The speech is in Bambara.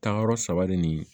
Taayɔrɔ saba de ni